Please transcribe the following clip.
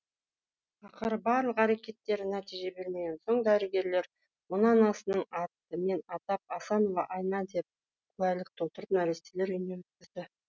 ақыры барлық әрекеттері нәтиже бермеген соң дәрігерлер оны анасының атымен атап асанова айна деп куәлік толтырып нәрестелер үйіне өткізді